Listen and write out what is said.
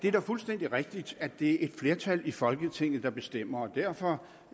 er fuldstændig rigtigt at det er et flertal i folketinget der bestemmer og derfor